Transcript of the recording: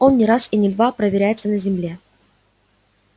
он не раз и не два проверяется на земле